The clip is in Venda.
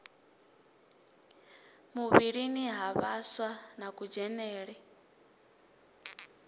muvhilini ha vhaswa na kudzhenele